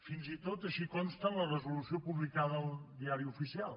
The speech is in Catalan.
fins i tot així consta en la resolució publicada al diari oficial